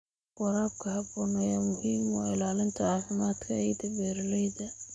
Waraabka habboon ayaa muhiim u ah ilaalinta caafimaadka ciidda beeralayda.